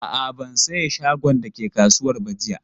A'a, ban saye shagon da ke kasuwar ba jiya.